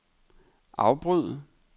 afbryd